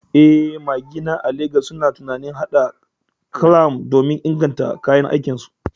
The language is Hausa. Eh, magina a Legas suna tunanin haɗa clamp don ingantattun kayan aiki.